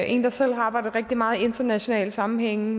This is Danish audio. en der selv har arbejdet rigtig meget i internationale sammenhænge